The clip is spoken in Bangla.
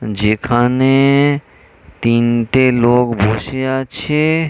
যেখানে-এ-এ তিনটে লোক বসে আছে-এ--